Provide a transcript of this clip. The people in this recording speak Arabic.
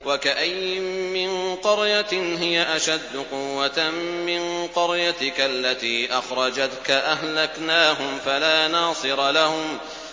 وَكَأَيِّن مِّن قَرْيَةٍ هِيَ أَشَدُّ قُوَّةً مِّن قَرْيَتِكَ الَّتِي أَخْرَجَتْكَ أَهْلَكْنَاهُمْ فَلَا نَاصِرَ لَهُمْ